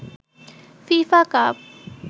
FIFA cup